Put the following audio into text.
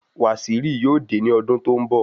Waziri yóò dé ní ọdún tó n bọ